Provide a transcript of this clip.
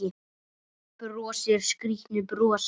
Brosir skrýtnu brosi.